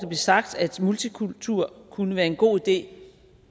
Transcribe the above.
sagt at multikultur kunne være en god idé